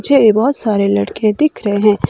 झे बहोत सारे लड़के दिख रहे--